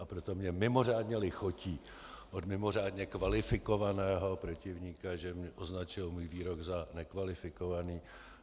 A proto mně mimořádně lichotí od mimořádně kvalifikovaného protivníka, že označil můj výrok za nekvalifikovaný.